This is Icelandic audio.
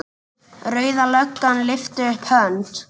Rauða löggan lyftir upp hönd.